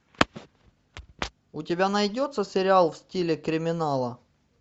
у тебя найдется сериал в стиле криминала